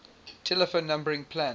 telephone numbering plan